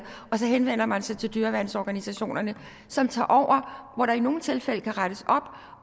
og så henvender man sig til dyreværnsorganisationerne som tager over hvor der i nogle tilfælde kan rettes op